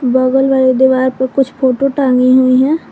बगल वाले दीवार पे कुछ फोटो टांगी हुई है।